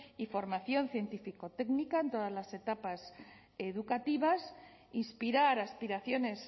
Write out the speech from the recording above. y formación científico técnica en todas las etapas educativas inspirar aspiraciones